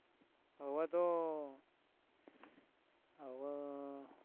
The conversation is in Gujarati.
હવે તો હવે